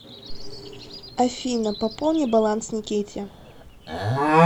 афина пополни баланс никите